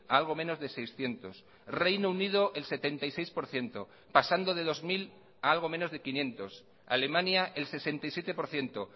algo menos de seiscientos reino unido el setenta y seis por ciento pasando de dos mil a algo menos de quinientos alemania el sesenta y siete por ciento